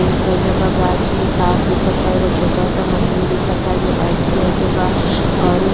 गाछ में तार दिखता। एगो छोटा-सा मंदील दिखता जो व्हाइट कलर के बा और उ --